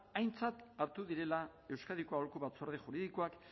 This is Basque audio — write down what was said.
aintzat hartu direla euskadiko aholku batzorde juridikoak